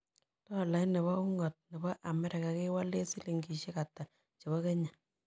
Tolait ne po un'got nebo america kewalen silingisiek ata chebo kenya